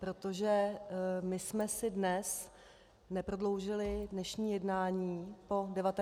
Protože my jsme si dnes neprodloužili dnešní jednání po 19. hodině.